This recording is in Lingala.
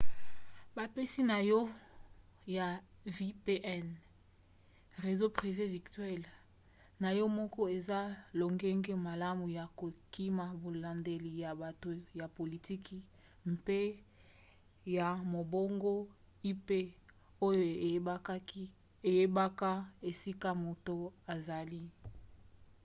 bapesi na yo ya vpn réseau privé virtuel na yo moko eza lolenge malamu ya kokima bolandeli ya bato ya politiki mpe ya mombongo ip oyo eyebaka esika moto azali